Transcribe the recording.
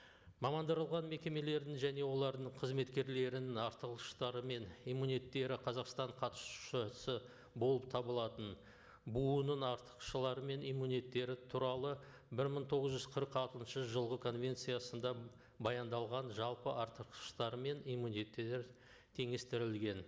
мамандырылған мекемелердің және олардың қызметкерлерінің артықшылықтары мен қазақстан қатысушысы болып табылатын бұұ ның мен туралы бір мың тоғыз жүз қырық алтыншы жылғы конвенциясында баяндалған жалпы иммунитеттер теңестірілген